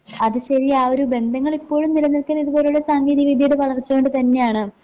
അത് ശരിയാ ആഒരു ബന്ധങ്ങളിപ്പോഴും നിലനിൽക്കുന്നതിതുപോലു ള്ള സാങ്കേതികവിദ്യയുടെ വളർച്ചകൊണ്ട് തന്നെയാണ്.